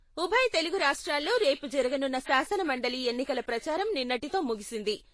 ఉభయ తెలుగు రాష్ట్రాల్లో రేపు జరగనున్న శాసనమండలి ఎన్నికల ప్రచారం నిన్నటితో ముగిసింది.